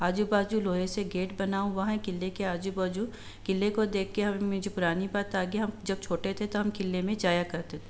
आजू-बाजू लोहे से गेट बना हुआ है। किले के आजू-बाजू किले को देख के मुझे एक पुरानी बात याद आ जब हम छोटे थे तो हम किले मे जाया करते --